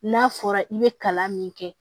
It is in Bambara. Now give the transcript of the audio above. N'a fɔra i be kalan min kɛ